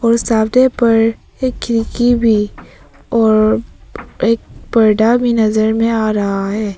वो सामने पर एक खिड़की भी और एक पर्दा भी नजर में आ रहा है।